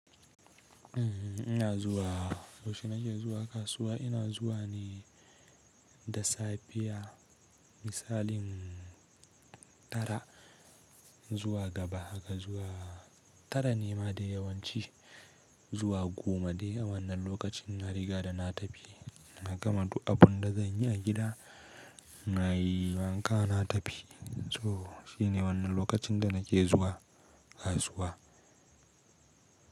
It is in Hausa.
Uhm, ina zuwa, yausha nake zuwa kasuwa ina zuwa ne da safiya misalin tara zuwa gaba haka zuwa tara ne ma dai yawanci zuwa goma dai a wannan lokacin na riga da na tafi na gama du abunda zan yi a gida nayi wanka na tafi. So shi ne wannan lokacin da nake zuwa kasuwa.